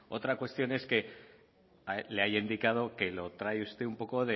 otra cuestión es que le haya indicado que lo trae un poco